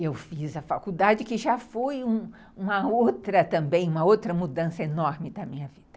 Eu fiz a faculdade, que já foi uma outra também, uma outa mudança enorme da minha vida.